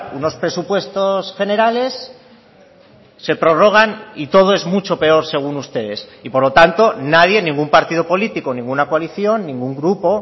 unos presupuestos generales se prorrogan y todo es mucho peor según ustedes y por lo tanto nadie ningún partido político ninguna coalición ningún grupo